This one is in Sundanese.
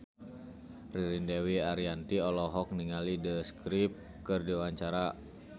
Ririn Dwi Ariyanti olohok ningali The Script keur diwawancara